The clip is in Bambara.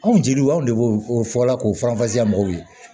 Anw jeliw anw de b'o o fɔla k'o mɔgɔw ye